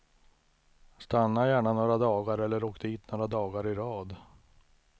Stanna gärna några dagar, eller åk dit några dagar i rad.